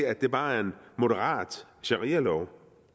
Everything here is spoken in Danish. at det bare er en moderat sharialov